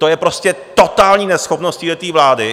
To je prostě totální neschopnost téhle vlády.